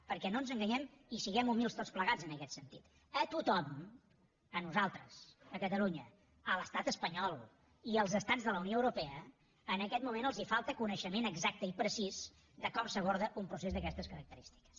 perquè no ens enganyem i siguem humils tots plegats en aquest sentit a tothom a nosaltres a catalunya a l’estat espanyol i als estats de la unió europea en aquest moment ens falta coneixement exacte i precís de com s’aborda un procés d’aquestes característiques